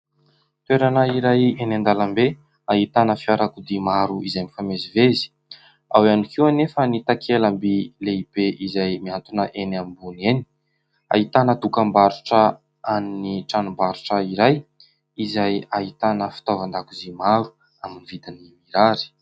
Toerana iray eny an-dalambe ahitana fiarakodia maro izay mifamezivezy. Ao ihany koa anefa ny takela-by lehibe izay mihantona eny ambony eny. Ahitana dokam-barotra an'ny tranombarotra iray izay ahitana fitaovan-dakozia maro amin'ny vidiny mirary.